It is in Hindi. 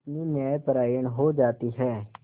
कितनी न्यायपरायण हो जाती है